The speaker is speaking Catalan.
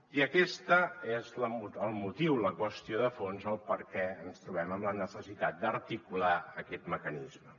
i aquest és el motiu la qüestió de fons el perquè ens trobem amb la necessitat d’articular aquest mecanisme